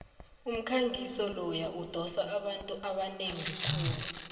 umkhangiso loya udose abantu abanengi khulu